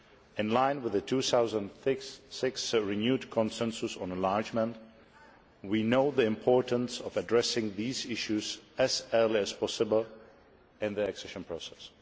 In line with the 2006 renewed consensus on enlargement, we know the importance of addressing these issues as early as possible in the accession process.